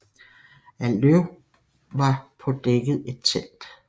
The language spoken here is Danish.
Af løv var på dækket et telt